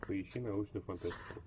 поищи научную фантастику